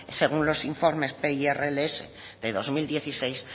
según los informes pirls de dos mil dieciséis